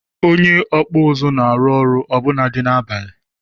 Onye okpu uzu na-arụ ọrụ ọbụnadi n'abalị.